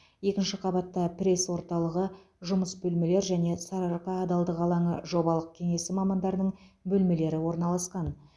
екінші қабатта пресс орталығы жұмыс бөлмелер және сарыарқа адалдық алаңы жобалық кеңесі мамандарының бөлмелері орналасқан